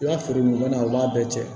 I ka feere ɲɔgɔnna u b'a bɛɛ cɛn